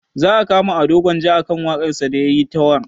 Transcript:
Za a kama ado gwanja akan waƙar sa da yayi ta warr